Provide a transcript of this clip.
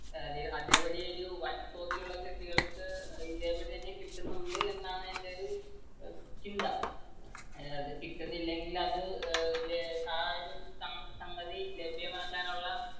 അതേപടി ഒരു വൻതോതിലുള്ള കൃഷികൾക്ക് ഇതേ പടി തന്നെ കിട്ടുന്നുണ്ട് എന്നാണ് എന്റെ ഒരു ചിന്ത. കിട്ടുന്നില്ലെങ്കിൽ അത് ആ ഒരു സംഗതി ലഭ്യമാക്കാൻ ഉള്ള